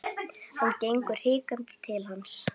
Hann gengur hikandi til hans.